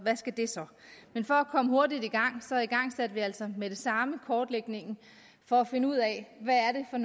men for at komme hurtigt i gang igangsatte vi altså med det samme kortlægningen for at finde ud af hvad det er